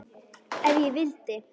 Ef ég vildi.